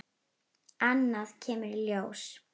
Annað kemur ljós